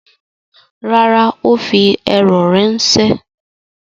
Rárá, ó fi eúrò ránṣẹ́.